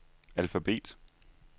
alfabet